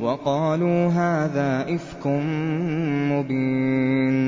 وَقَالُوا هَٰذَا إِفْكٌ مُّبِينٌ